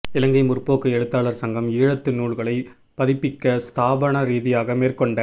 இலங்கை முற் போக்கு எழுத்தாளர் சங்கம் ஈழத்து நூல்களைப் பதிப்பிக்க ஸ்தாபனரீதியாக மேற் கொண்ட